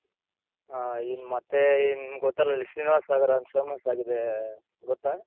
ಹ ಇಲ್ಲಿ ಮತ್ತೆ ನಿಮ್ ಗೊತ್ತಲ್ಲ ಇಲ್ಲಿ ಶ್ರೀನಿವಾಸ ಸಾಗಾರ ಅಂತ famous ಆಗಿದೆ ಗೊತ್ತ.